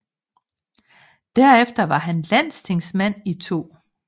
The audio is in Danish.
Derefter var han Landstingsmand i 2